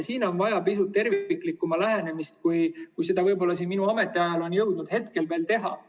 Siin on vaja pisut terviklikumat lähenemist, selleni võib-olla minu ametiajal ei ole jõutud.